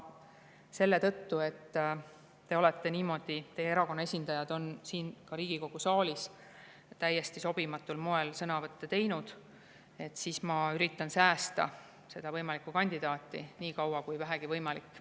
Selle tõttu, et teie erakonna esindajad on ka Riigikogu saalis täiesti sobimatul moel sõnavõtte teinud, ma üritan säästa seda võimalikku kandidaati nii kaua kui vähegi võimalik.